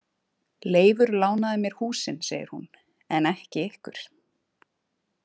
Leifur lánaði mér húsin, segir hún, „en ekki ykkur“